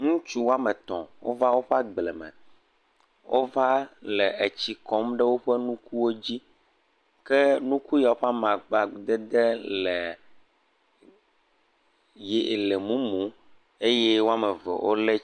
Ŋutsu woame etɔ̃ wova woƒe agbleme, wova la etsi kɔm ɖe woƒe nukuwo dzi ken uku siawo ƒe amadede le mumu eye eve wolé..,